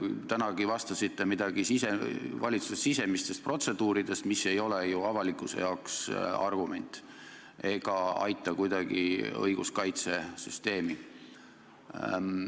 Tänagi rääkisite vastates midagi valitsuse sisemistest protseduuridest, mis ei ole ju avalikkuse jaoks argument ega aita kuidagi õiguskaitsesüsteemi.